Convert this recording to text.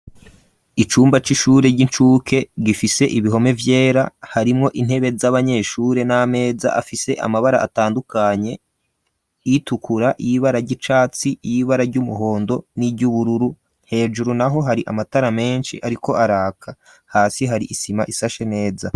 Icumba c'ishure ry'incuke gifise ibihome vyera harimwo intebe z'abanyeshure n'ameza afise amabara atandukanye itukura yibara gy'icatsi y'ibara ry'umuhondo n'iry'ubururu hejuru naho hari amatara menshi ariko araka hasi hari isima isashe neza.